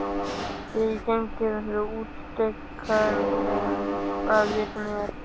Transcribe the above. Þegar ég geng innfyrir leggur steikarilm að vitum mér.